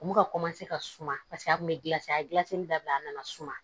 U bɛ ka ka suma paseke a tun bɛ gilasi a ye dilasili daminɛ a nana suma